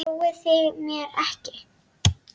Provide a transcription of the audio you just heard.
Trúið þið mér ekki?